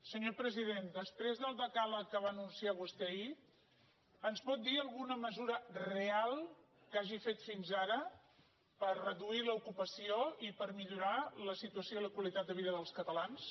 senyor president després del decàleg que va anunciar vostè ahir ens pot dir alguna mesura reall’ocupació i per millorar la situació i la qualitat de vida dels catalans